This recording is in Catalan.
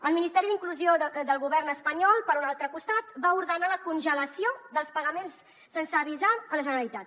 el ministeri d’inclusió del govern espanyol per un altre costat va ordenar la congelació dels pagaments sense avisar la generalitat